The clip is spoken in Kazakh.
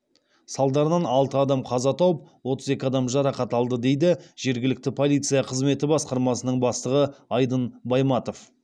салдарынан алты адам қаза тауып отыз екі адам жарақат алды дейді жергілікті полиция қызметі басқармасының бастығы айдын байматов